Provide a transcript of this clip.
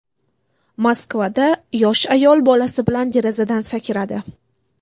Moskvada yosh ayol bolasi bilan derazadan sakradi.